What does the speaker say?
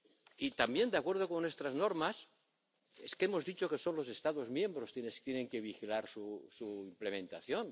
Y también, de acuerdo con nuestras normas, hemos dicho que son los Estados miembros quienes tienen que vigilar su implementación.